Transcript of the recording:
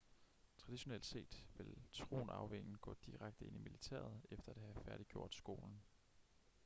traditionelt set ville tronarvingen gå direkte ind i militæret efter at have færdiggjort skolen